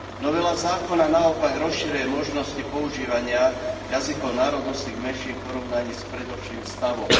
Novela zákona naopak rozširuje možnosti používania jazykov národnostných menšín v porovnaní s predošlým stavom.